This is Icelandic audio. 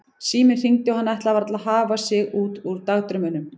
Síminn hringdi og hann ætlaði varla að hafa sig út úr dagdraumunum.